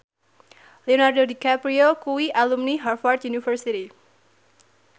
Leonardo DiCaprio kuwi alumni Harvard university